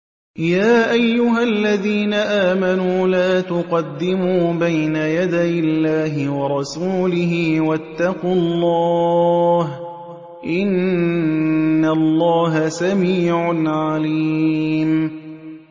يَا أَيُّهَا الَّذِينَ آمَنُوا لَا تُقَدِّمُوا بَيْنَ يَدَيِ اللَّهِ وَرَسُولِهِ ۖ وَاتَّقُوا اللَّهَ ۚ إِنَّ اللَّهَ سَمِيعٌ عَلِيمٌ